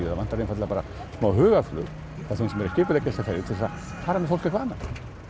það vantar einfaldlega bara smá hugarflug frá þeim sem eru að skipuleggja þessar ferðir til þess að fara með fólk eitthvað annað